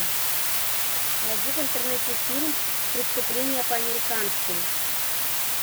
найди в интернете фильм преступление по американски